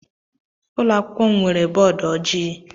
Ụlọ akwụkwọ m nwere bọọdụ ojii.